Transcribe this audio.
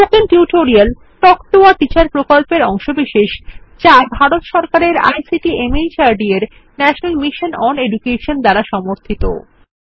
spoken tutorial talk to a teacher প্রকল্পের অংশবিশেষ যা ভারত সরকারের আইসিটি মাহর্দ এর ন্যাশনাল মিশন ওন এডুকেশন দ্বারা সমর্থিত